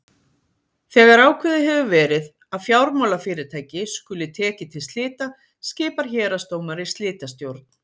Þegar ákveðið hefur verið að fjármálafyrirtæki skuli tekið til slita skipar héraðsdómari slitastjórn.